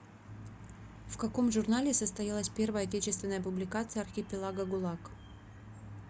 в каком журнале состоялась первая отечественная публикация архипелага гулаг